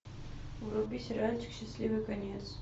вруби сериальчик счастливый конец